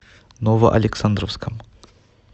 новоалександровском